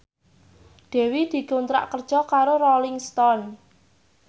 Dewi dikontrak kerja karo Rolling Stone